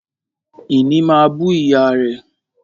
Ìní máa bú ìyá rẹ̀